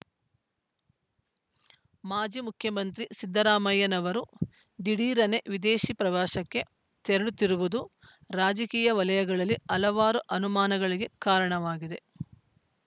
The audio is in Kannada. ಮಾಜಿ ಮುಖ್ಯಮಂತ್ರಿ ಸಿದ್ದರಾಮಯ್ಯನವರು ಧಿಡೀರನೆ ವಿದೇಶಿ ಪ್ರವಾಸಕ್ಕೆ ತೆರಳುತ್ತಿರುವುದು ರಾಜಕೀಯ ವಲಯಗಳಲ್ಲಿ ಹಲವಾರು ಅನುಮಾನಗಳಿಗೆ ಕಾರಣವಾಗಿದೆ